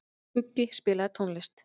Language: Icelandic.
Skuggi, spilaðu tónlist.